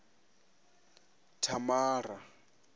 thamara